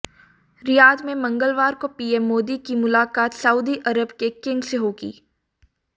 Riyadh में मंगलवार को पीएम मोदी की मुलाकात सऊदी अरब के किंग से होगी